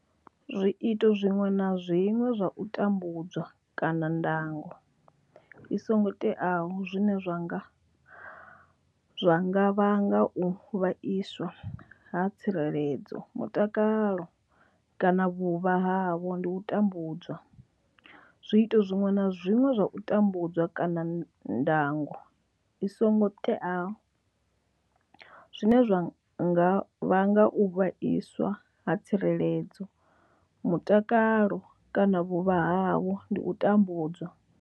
Zwiito zwiṅwe na zwiṅwe zwa u tambudza kana ndango i songo teaho zwine zwa nga vhanga u vhaiswa ha tsireledzo, mutakalo kana vhuvha havho ndi u tambudzwa. Zwiito zwiṅwe na zwiṅwe zwa u tambudza kana ndango i songo teaho zwine zwa nga vhanga u vhaiswa ha tsireledzo, mutakalo kana vhuvha havho ndi u tambudzwa.